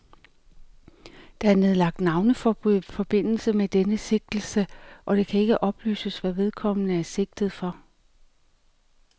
Der er nedlagt navneforbud i forbindelse med denne sigtelse, og det kan ikke oplyses, hvad vedkommende er sigtet for.